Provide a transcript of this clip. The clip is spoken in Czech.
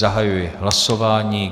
Zahajuji hlasování.